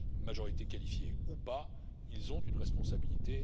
Majorité qualifiée ou pas, ils ont une responsabilité.